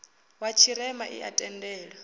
wa tshirema i a tendela